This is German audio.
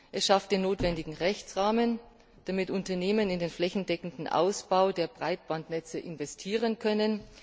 Es schafft den notwendigen Rechtsrahmen, damit die Unternehmen in den flächendeckenden Ausbau der Breitbandnetze investieren können.